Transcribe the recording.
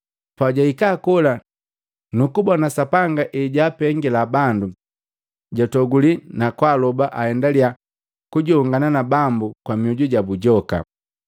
Pajwahika kola nukubona Sapanga hejapengali bandu, jwatoguli na kwaaloba aendalia kujongana na Bambu kwa mioju jabu joka.